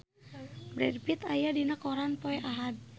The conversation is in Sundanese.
Brad Pitt aya dina koran poe Ahad